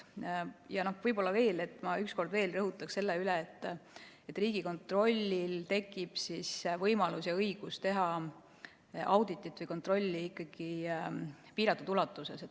Ja ma ühe korra rõhutaks veel üle, et Riigikontrollil tekib võimalus ja õigus teha auditit või kontrolli ikkagi piiratud ulatuses.